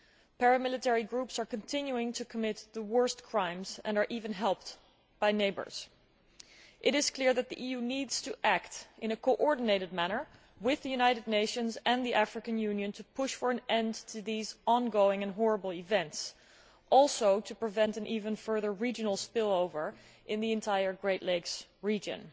Paramilitary groups are continuing to commit the worst crimes and are even helped by neighbours. It is clear that the EU needs to act in a coordinated manner with the United Nations and the African Union to push for an end to these ongoing and horrible events, and also to prevent an even further regional spill over in the entire Great Lakes region.